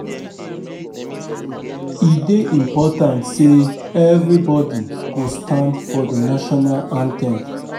E dey important say everybody go stand for the National anthem